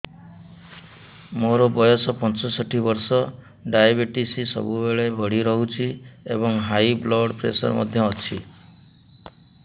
ମୋର ବୟସ ପଞ୍ଚଷଠି ବର୍ଷ ଡାଏବେଟିସ ସବୁବେଳେ ବଢି ରହୁଛି ଏବଂ ହାଇ ବ୍ଲଡ଼ ପ୍ରେସର ମଧ୍ୟ ଅଛି